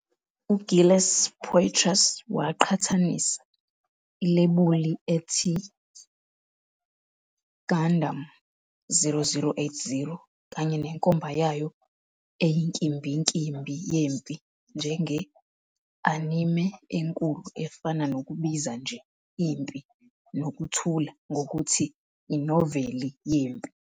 UGilles Poitras waqhathanisa "ilebuli ethi Gundam 0080" kanye nenkomba yayo eyinkimbinkimbi yempi njenge "anime enkulu" efana nokubiza nje "iMpi nokuthula" ngokuthi "inoveli yempi".